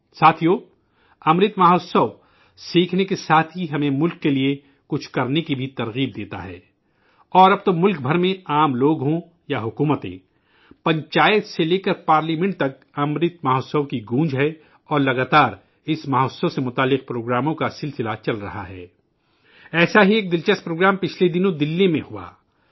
ساتھیو، امرت مہوتسو سیکھنے کے ساتھ ہی ہمیں ملک کے لیے کچھ کرنے کی بھی تحریک دیتا ہے اور اب تو ملک بھر میں چاہے عام لوگ ہوں یا حکومتیں، پنچایت سے لے کر پارلیمنٹ تک، امرت مہوتسو کی گونج ہے اور اس لگاتار اس مہوتسو سے متعلق پروگرامون کا سلسلہ چل رہا ہے، ایسا ہی ایک دلچسپ پروگرام گزشتہ دنوں دہلی میں ہوا